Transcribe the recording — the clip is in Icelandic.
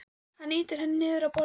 Hann ýtir henni niður á borðið.